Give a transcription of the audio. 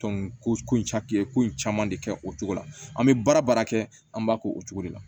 ko in ye ko in caman de kɛ o cogo la an bɛ baara kɛ an b'a kɛ o cogo de la